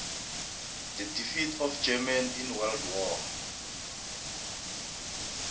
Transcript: the defeat of germany in world war